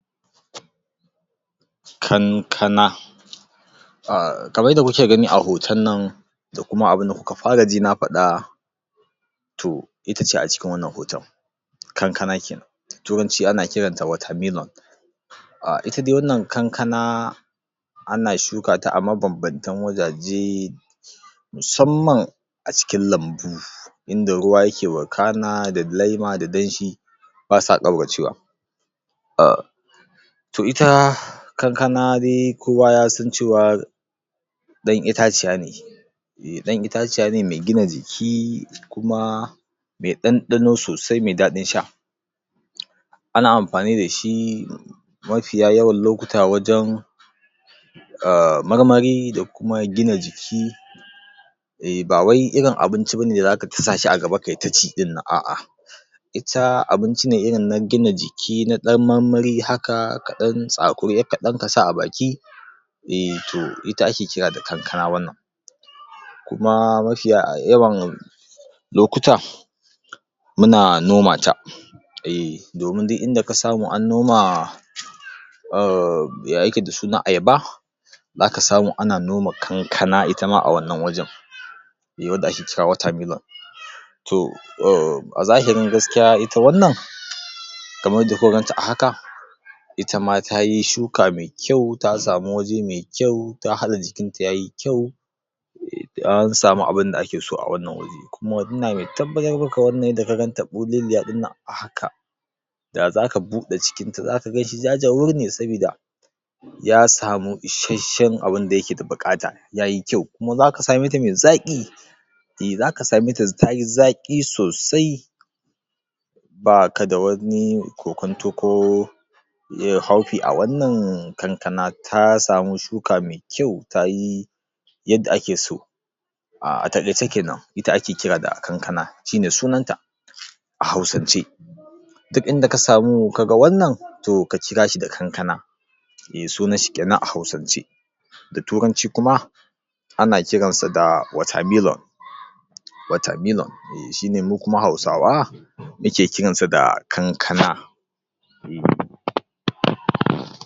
kankana kamar yadda muke gani a hoton nan da kuma abunda kuka fara ji na faɗa to itace a cikin wannan hoton kankana kenan turanci ana kiranta watermelon ita dai wannan kankana ana shuka ta a mabanbantan wajaje musamman a cikin lambu inda ruwa yake wakana da lema da danshi ba sa ƙauracewa to ita kankana de kowa ya san cewa ɗan itaciya ne ɗan itaciya ne me gina jiki kuma me ɗanɗano sosai me daɗin sha ana amfani da shi mafiya yawan lokuta wajen marmari da kuma gina jiki eh bawai irin abinci bane da zaka tusa shi a gaba kayi ta ci ɗin nan a'a ita abinci ne irin na gina jiki na ɗan marmari haka ka ɗan tsakuri ƴar kaɗan ka sa a baki eh to ita ake kira da kankana wannan kuma mafiya yawan lokuta muna nomata eh domin duk inda ka samu an noma umm ya yake da suna ayaba zaka samu ana noma kankana itama a wannan wajen eh wanda ake cewa watermelon a zahirin gaskiya ita wannan kaman yadda kuka ganta a haka ita ma tayi shuka me kyau ta samu waje me kyau ta haɗa jikin ta yayi kyau an samu abunda ake so a wannan wuri kuma ina me tabbatar maka wannan yadda ka ganta ɓuleliya ɗinnan a haka da zaka buɗe cikinta, zaka ganshi ja-jawur ne sabida ya samu ishashshen abinda yake da buƙata yayi kyau kuma zaka same ta da zaƙi eh zaka same ta tayi zaƙi sosai ba ka da wani kokonto ko haufi a wannan kankana ta samu shuka me kyau tayi yadda ake so a taƙaice kenan ita ake kira da kankana shine sunan ta a hausance duk inda ka samu ka ga wannan to ka kira shi da kankana eh sunan shi kenan a hausance da turanci kuma ana kiran sa da watermelon watermelon eh shine mu kuma hausawa muke kiransa da kankana